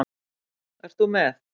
Ert þú með?